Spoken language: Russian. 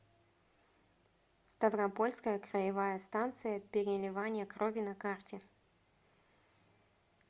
ставропольская краевая станция переливания крови на карте